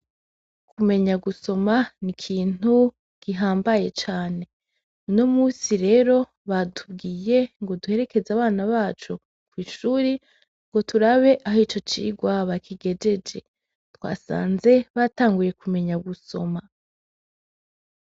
Kumenya gusoma n’ikintu gihambaye cane, unomunsi rero batubwiye ngo duherekeze abana bacu kw’ishure ngo turabe aho ico cigwa bakigejeje, twasanze batanguye kumenya gusoma.